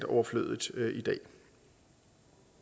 overflødigt